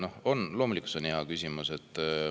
See on loomulikult hea küsimus.